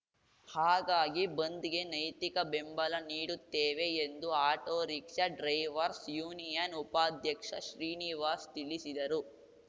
ಹಾಗಾಗಿ ಬಂದ್‌ಗೆ ನೈತಿಕ ಬೆಂಬಲ ನೀಡುತ್ತೇವೆ ಎಂದು ಆಟೋರಿಕ್ಷಾ ಡ್ರೈವರ್ಸ್ ಯೂನಿಯನ್‌ ಉಪಾಧ್ಯಕ್ಷ ಶ್ರೀನಿವಾಸ್‌ ತಿಳಿಸಿದರು